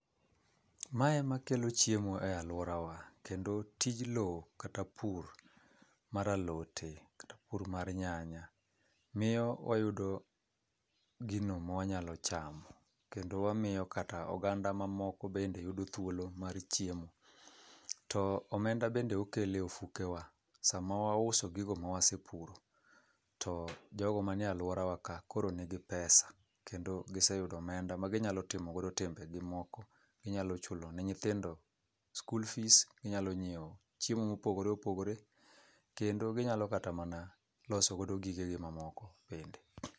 Mae ema kelo chiemo e alworawa, kendo tij lowo kata pur mar alote, kata pur mar nyany, miyo wayudo gino ma wanyalo chamo. Kendo wamiyo kata oganda mamoko bende yudo thuolo mar chiemo. To omenda bende okelo e ofukewa, sama wauso gigo ma wasepuro, to jogo mani e alworawa ka, koro nigi pesa. Kendo giseyudo omenda ma ginyalo timo godo timbegi moko. Ginyalo chulo ne nyithindo school fees, ginyalo nyiewo chiemo mopogore opogore, kendo ginyalo kata mana loso go gigegi mamoko bende.